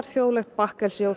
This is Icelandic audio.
þjóðlegt bakkelsi og